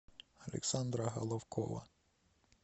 александра головкова